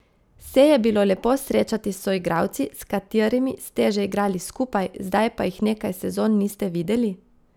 Se je bilo lepo srečati s soigralci, s katerimi ste že igrali skupaj, zdaj pa jih nekaj sezon niste videli?